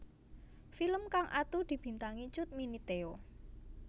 Film kang atu dibintangi Cut Mini Theo